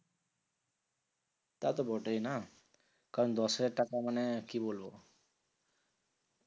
তা তো বটেই না? কারণ দশহাজার টাকা মানে কি বলবো?